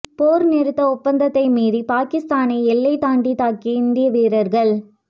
போர் நிறுத்த ஒப்பந்தத்தை மீறி பாகிஸ்தானை எல்லை தாண்டி தாக்கிய இந்திய வீரர்கள்